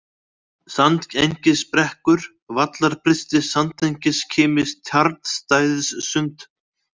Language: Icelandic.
Sandengisbrekkur, Vallarbrysti, Sandengiskimi, Tjarnstæðissund